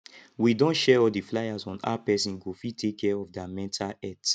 we don share all the fliers on how person go fit take care of their mental health